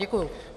Děkuji.